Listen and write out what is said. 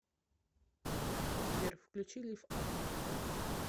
сбер включи лифф ап